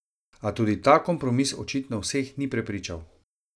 A tudi ta kompromis očitno vseh ni prepričal.